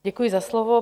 Děkuji za slovo.